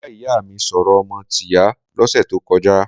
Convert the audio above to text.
Mo bá ìyá mi sọ̀rọ̀ ọmọ tìyá lọ́sẹ̀ tó kọjá.